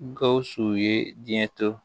Gawusu ye diɲɛ to